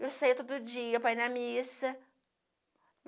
Eu saía todo dia para ir na missa.